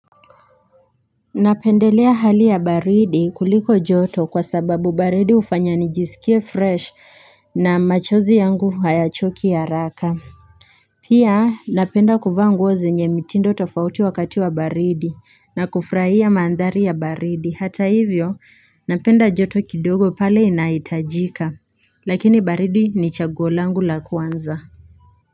Napendelea hali ya baridi kuliko joto kwa sababu baridi hufanya nijisikie fresh na machozi yangu hayachoki haraka Pia napenda kuvaa nguo zenye mitindo tofauti wakati wa baridi na kufurahia maandhari ya baridi hata hivyo napenda joto kidogo pale inaitajika lakini baridi ni chaguo langu la kwanza.